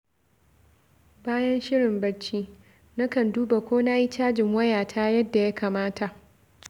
Bayan shirin barci, nakan duba ko na yi cajin wayata yadda ya kamata.